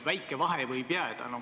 Väike vahe võib jääda.